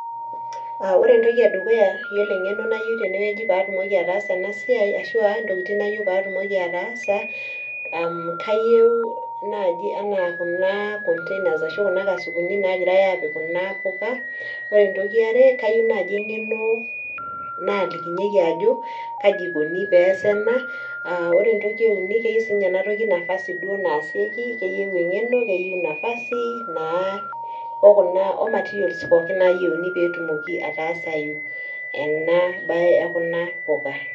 Aah ore entoki edukuya yiolo eng'eno nayieu tene wueji paatumoki ataasa ena siai, ashuu a ntokitin nayieu paatumoki ataasa aa kayieu naaji enaa container ashu kana kasukun nagirai apik kuna puka. Ore ntoki eare kayieu naaji enkeno naalikinyieki ajo kaji ikoni pesa ena. Ore entoki euni keyieu siininye ena nafasi duo naasieki, keyieu enkeno, keyieu nafasi naa omatirios pookin nayiuni petumoki atasayu ena bae ekuna puku.